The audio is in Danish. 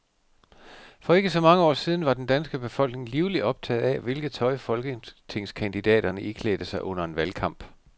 For ikke så mange år siden var den danske befolkning livligt optaget af, hvilket tøj folketingskandidaterne iklædte sig under en valgkamp.